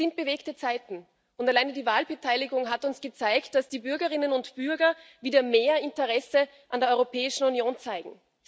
Es sind bewegte Zeiten, und allein die Wahlbeteiligung hat uns gezeigt, dass die Bürgerinnen und Bürger wieder mehr Interesse an der Europäischen Union zeigen.